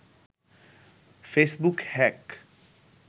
Facebook hack